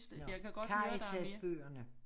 Nåh Karitas-bøgerne